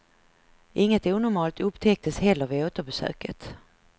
Inget onormalt upptäcktes heller vid återbesöket.